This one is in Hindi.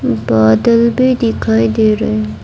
बादल भी दिखाई दे रहे हैं।